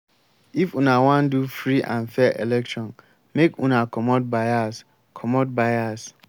if una wan do free and fair election make una comot bias. comot bias.